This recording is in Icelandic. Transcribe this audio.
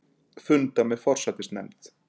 Funda með forsætisnefnd